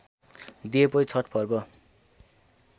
दिएपछि छठ पर्व